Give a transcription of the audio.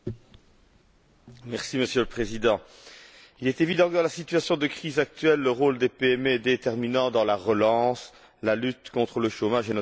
Monsieur le Président, il est évident que, dans la situation de crise actuelle, le rôle des PME est déterminant dans la relance et la lutte contre le chômage, notamment le chômage des jeunes.